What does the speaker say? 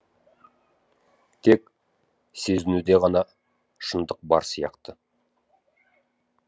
тек сезінуде ғана шындық бар сияқты